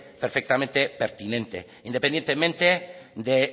perfectamente pertinente independientemente de